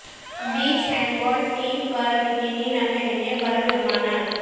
بیچ handball team پر bikini نہ پہننے پر جرمانہ